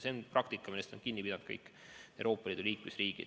See on praktika, millest on kinni pidanud kõik Euroopa Liidu liikmesriigid.